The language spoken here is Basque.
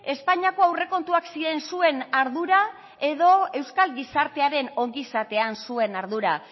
espainiako aurrekontuak ziren zuen ardura edo euskal gizartearen ongizatean zuen ardura